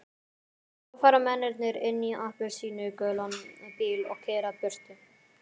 Svo fara mennirnir inn í appelsínugulan bíl og keyra burtu.